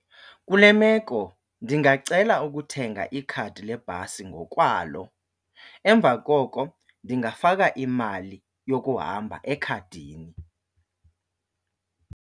Kule meko ndingacela ukuthenga ikhadi lebhasi ngokwalo, emva koko ndingafaka imali yokuhamba ekhadini.